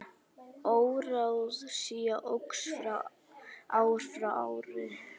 Óráðsía óx ár frá ári.